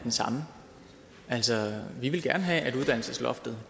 den samme altså vi vil gerne have at uddannelsesloftet